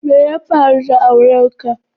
Me ya faru da auren ka?